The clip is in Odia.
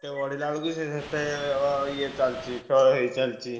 ଯେତେ ବଢିଲା ବେଳକୁ ସିଏ ସେ ତେ ଅ~ ଇଏରେ ଚାଲିଛି କ୍ଷୟ ହେଇ ଚାଲିଛି।